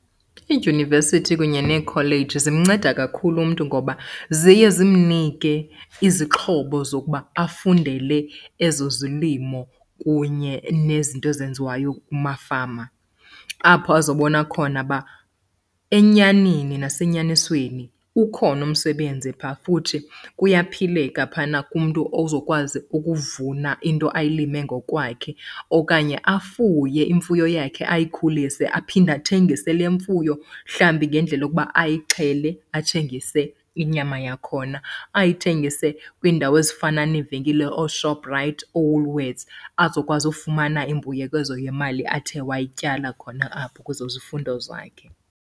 Iidyunivesithi kunye neekholeji zimnceda kakhulu umntu ngoba ziye zimnike izixhobo zokuba afundele ezo zolimo kunye nezinto ezenziwayo kumafama. Apho azobona khona uba enyanini nasenyanisweni ukhona umsebenzi phaa futhi kuyaphileka phana kumntu ozokwazi ukuvuna into ayilime ngokwakhe. Okanye afuye imfuyo yakhe ayikhulise aphinde athengise le mfuyo mhlawumbi ngendlela yokuba ayixhele athengise inyama yakhona. Ayithengise kwiindawo ezifana neevenkile ooShoprite, ooWoolworths azokwazi ukufumana imbuyekezo yemali athe wayityala khona apho kwezo zifundo zakhe.